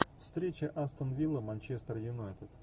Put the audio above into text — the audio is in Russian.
встреча астон вилла манчестер юнайтед